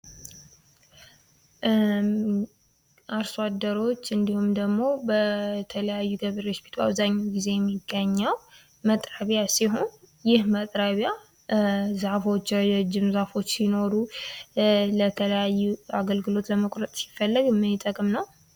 አርሶ አደሮች የሀገራችን የምግብ ዋስትና እንዲረጋገጥ ከፍተኛ አስተዋፅኦ የሚያደርጉ የጀርባ አጥንት ናቸው። እነዚህ የህብረተሰብ ክፍሎች በየቀኑ ጠንክረው በመስራት ለእኛ ምግብ ያመርታሉ እንዲሁም የገጠር ኢኮኖሚን ያንቀሳቅሳሉ።